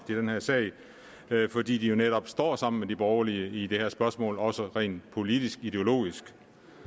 i den her sag fordi de jo netop står sammen med de borgerlige i det her spørgsmål også rent politisk ideologisk